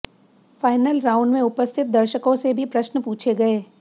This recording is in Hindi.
फायनल राउण्ड में उपस्थित दर्शकों से भी प्रश्न पूछे गये